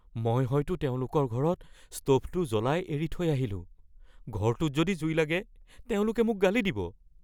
মই হয়তো তেওঁলোকৰ ঘৰৰ স্ত’ভটো জ্বলাই এৰি থৈ আহিলোঁ। ঘৰটোত যদি জুই লাগে তেওঁলোকে মোক গালি দিব।